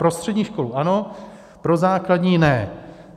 Pro střední školu ano, pro základní ne.